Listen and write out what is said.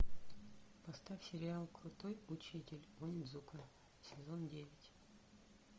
поставь сериал крутой учитель онидзука сезон девять